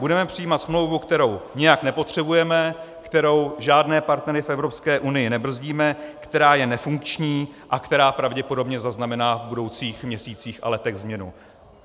Budeme přijímat smlouvu, kterou nijak nepotřebujeme, kterou žádné partnery v Evropské unii nebrzdíme, která je nefunkční a která pravděpodobně zaznamená v budoucích měsících a letech změnu.